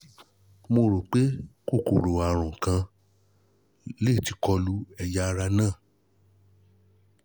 mo rò pé kòkòrò àrùn kan lè ti kọ lu ẹ̀yà ara náà